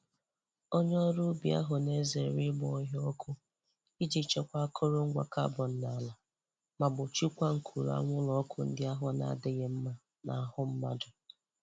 Onye ọrụ ubi ahụ na-ezere ịgba ọhịa ọkụ iji chekwa akọrọ ngwa carbon n'ala ma gbochiekwa nkuru anwụrụ ọkụ ndị ahụ n'adịghị mma n'ahụ mmadụ.